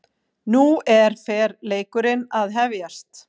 Nú er fer leikurinn að hefjast